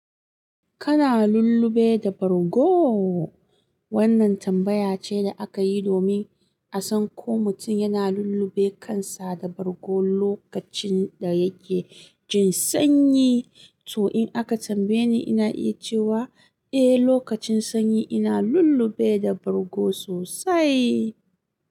Kana lullube da bargo? Wannan tambaya ce da aka yi domin a san ko mutum yana lullube kansa da bargo lokacin da yake jin sanyi. To, in aka tambaye ni, ina iya cewa eh, lokacin sanyi ina lullube da bargo sosai.